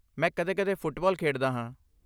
ਮੈਂ ਕਦੇ ਕਦੇ ਫੁੱਟਬਾਲ ਖੇਡਦਾ ਹਾਂ